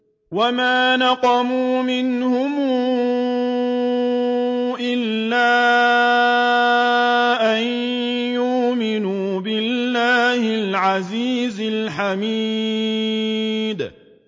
وَمَا نَقَمُوا مِنْهُمْ إِلَّا أَن يُؤْمِنُوا بِاللَّهِ الْعَزِيزِ الْحَمِيدِ